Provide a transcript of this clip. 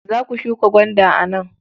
Za ku shuka gwanda a nan?